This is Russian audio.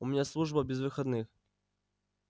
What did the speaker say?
у меня служба без выходных